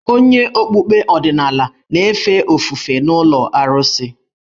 Onye okpukpe ọdịnala na-efe ofufe n’ụlọ arụsị.